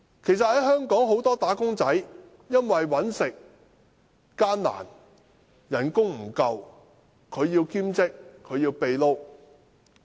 其實香港很多"打工仔"因為生活艱難，工資不足，需要兼職、"秘撈"。